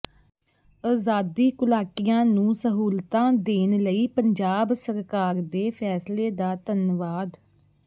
ਅਜ਼ਾਦੀ ਘੁਲਾਟੀਆਂ ਨੂੰ ਸਹੂਲਤਾਂ ਦੇਣ ਲਈ ਪੰਜਾਬ ਸਰਕਾਰ ਦੇ ਫੈਸਲੇ ਦਾ ਧੰਨਵਾਦ